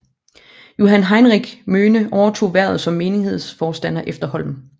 Johan Heinrich Møhne overtog hvervet som menighedsforstander efter Holm